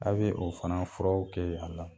A' bɛ o fana furaw kɛ a la.